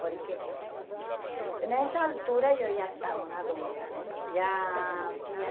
Porque... Nessa altura eu já estava uma adulta, né? Já tinha